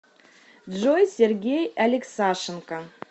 джой сергей алексашенко